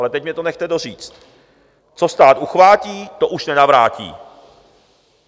Ale teď mě to nechte doříct: Co stát uchvátí, to už nenavrátí.